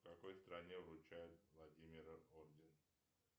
в какой стране вручают владимира орден